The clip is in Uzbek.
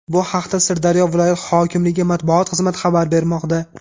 Bu haqda Sirdaryo viloyat hokimligi matbuot xizmati xabar bermoqda.